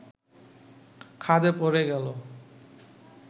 খাদে পড়ে গেল